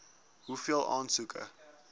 hoeveel aansoeke